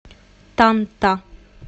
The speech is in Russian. танта